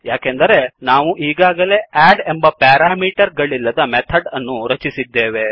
ಯಾಕೆಂದರೆ ನಾವು ಈಗಾಗಲೇ ಅಡ್ ಎಂಬ ಪ್ಯಾರಾಮೀಟರ್ ಗಳಿಲ್ಲದ ಮೆಥಡ್ ಅನ್ನುರಚಿಸಿದ್ದೇವೆ